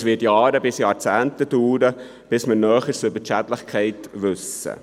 Es wird Jahre bis Jahrzehnte dauern, bis man Näheres über die Schädlichkeit weiss.